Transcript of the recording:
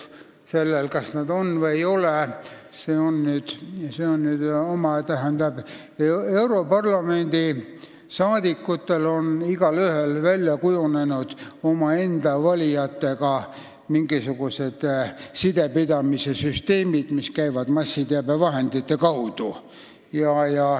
Europarlamendi liikmetel on igaühel välja kujunenud oma valijatega mingisugused sidepidamise süsteemid, mis käivad massiteabevahendite kaudu.